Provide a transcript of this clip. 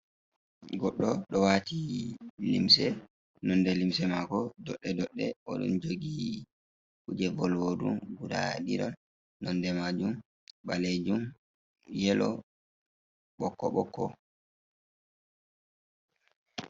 Goɗɗo ɗo waati limse. Nonde limse maako doɗɗe-doɗɗe. O ɗon jogi kuje volwurɗum guda ɗiɗon nonde maajum ɓaleejum, yelo, ɓokko-ɓokko.